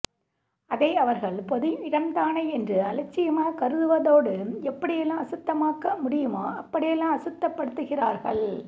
அதை அவர்கள் பொது இடம்தானே என்று அலட்சியமாகக் கருதுவதோடு எப்படி எல்லாம் அசுத்தமாக்க முடியுமோ அப்படி எல்லாம் அசுத்தப் படுத்துகிறார்கள்